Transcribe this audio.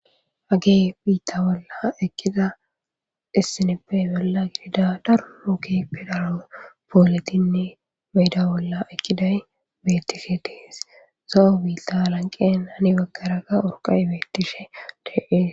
Hage biitta bolla ekkiza issineppe bolla gidida daro keehippe dara pooletinne beyda bolla ekkiday beettishe dees.zo7o biita alanqen hani baggaraga urqay beettishe de7ees.